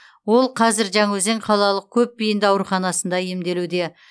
ол қазір жаңаөзен қалалық көпбейінді ауруханасында емделуде